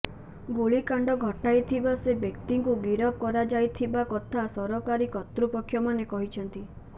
ଗୁଳିକାଣ୍ଡ ଘଟାଇଥିବା ସେ ବ୍ୟକ୍ତିଙ୍କୁ ଗିରଫ କରାଯାଇଥିବା କଥା ସରକାରୀ କର୍ତ୍ତୃପକ୍ଷମାନେ କହିଛନ୍ତି